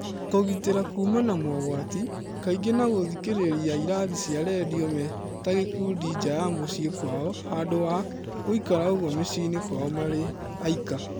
Kũgitĩra kuuma mogwati, kaingĩ na gũthikĩrĩria ĩrathi cia rendio metagĩkundi nja ya muciĩ kwao handũ wa gũĩka ũguo mĩciĩnĩ kwao marĩaika.